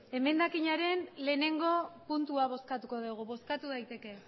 emendakinaren lehenengo puntua bozkatuko dugu bozkatu daiteke